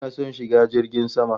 Ina son shiga jirgin sama